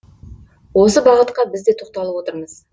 осы бағытқа біз де тоқталып отырмыз